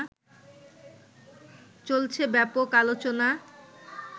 চলছে ব্যাপক আলোচনা